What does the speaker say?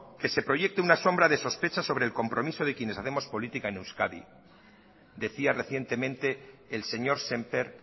que se proyecte una sombra de sospechas sobre el compromiso de quienes hacemos política en euskadi decía recientemente el señor sémper